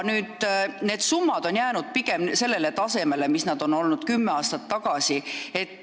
Need summad on jäänud pigem sellele tasemele, mis nad olid kümme aastat tagasi.